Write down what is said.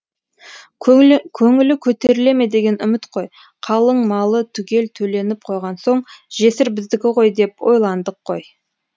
көңілі көтеріле ме деген үміт қой қалың малы түгел төленіп қойған соң жесір біздікі ғой деп ойландық қой